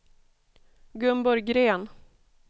Gunborg Green